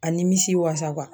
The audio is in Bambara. A nimisi wasa